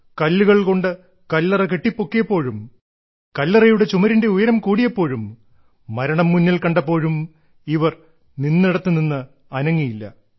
കല്ലുകൾ കൊണ്ടു കല്ലറ കെട്ടിപ്പൊക്കിയപ്പോഴും കല്ലറയുടെ ചുമരിന്റെ ഉയരം കൂടിയപ്പോഴും മരണം മുന്നിൽ കണ്ടപ്പോഴും ഇവർ നിന്നിടത്തു നിന്ന് അനങ്ങിയില്ല